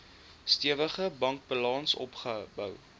stewige bankbalans opgebou